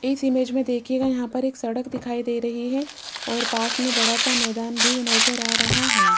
इस इमेज में देखिएगा यहां पर एक सड़क भी दिखाई दे रही है और पास में बड़ा सा मैदान भी नजर आ रहा है।